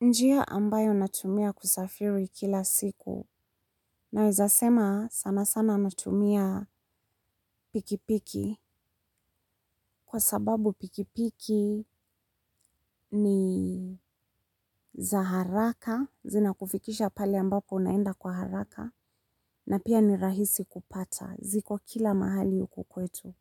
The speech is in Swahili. Njia ambayo natumia kusafiri kila siku naweza sema sana sana natumia pikipiki kwa sababu pikipiki ni za haraka zinakufikisha pale ambapo unaenda kwa haraka na pia ni rahisi kupata ziko kila mahali huku kwetu.